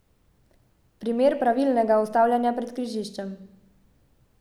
Primer pravilnega ustavljanja pred križiščem.